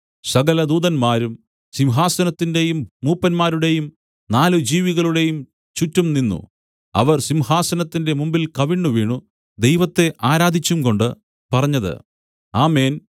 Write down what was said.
സകലദൂതന്മാരും സിംഹാസനത്തിന്റെയും മൂപ്പന്മാരുടെയും നാല് ജീവികളുടെയും ചുറ്റും നിന്നു അവർ സിംഹാസനത്തിന്റെ മുമ്പിൽ കവിണ്ണുവീണു ദൈവത്തെ ആരാധിച്ചും കൊണ്ട് പറഞ്ഞത് ആമേൻ